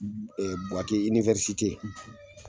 Buwake